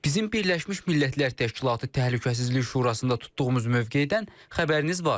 Bizim Birləşmiş Millətlər Təşkilatı Təhlükəsizlik Şurasında tutduğumuz mövqedən xəbəriniz var.